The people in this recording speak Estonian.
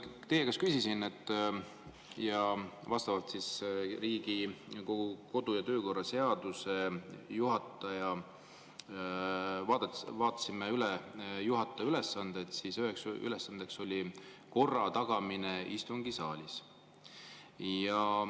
Kui ma teie käest küsisin ja me vaatasime üle Riigikogu kodu‑ ja töökorra seaduses juhataja ülesanded, siis, et üks ülesanne on korra tagamine istungisaalis.